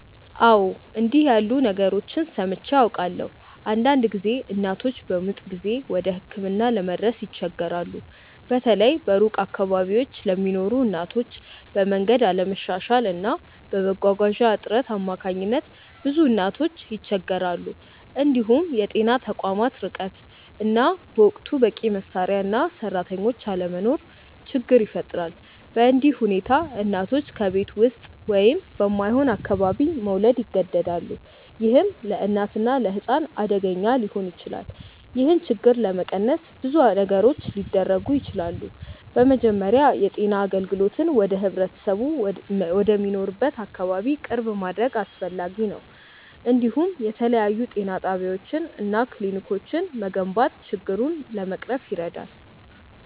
አዎ፣ እንዲህ ያሉ ነገሮችን ሰምቼ አውቃለሁ። አንዳንድ ጊዜ እናቶች በምጥ ጊዜ ወደ ሕክምና ለመድረስ ይቸገራሉ፤ በተለይ በሩቅ አካባቢዎች ለሚኖሩ እናቶች፤ በመንገድ አለመሻሻል እና በመጓጓዣ እጥረት አማካኝነት ብዙ እናቶች ይቸገራሉ። እንዲሁም የጤና ተቋማት ርቀት እና በወቅቱ በቂ መሳሪያ እና ሰራተኞች አለመኖር ችግር ይፈጥራል። በእንዲህ ሁኔታ እናቶች በቤት ውስጥ ወይም በማይሆን አካባቢ መውለድ ይገደዳሉ፣ ይህም ለእናትና ለሕፃን አደገኛ ሊሆን ይችላል። ይህን ችግር ለመቀነስ ብዙ ነገሮች ሊደረጉ ይችላሉ። በመጀመሪያ የጤና አገልግሎትን ወደ ህብረተሰቡ ወደሚኖርበት አካባቢ ቅርብ ማድረግ አስፈላጊ ነው፤ እንዲሁም የተለያዩ ጤና ጣቢያዎች እና ክሊኒኮች መገንባት ችግሩን ለመቅረፍ ይረዳል።